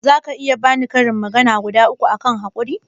zaka iya bani karin magana guda uku akan haƙuri?